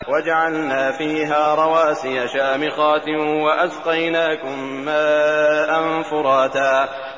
وَجَعَلْنَا فِيهَا رَوَاسِيَ شَامِخَاتٍ وَأَسْقَيْنَاكُم مَّاءً فُرَاتًا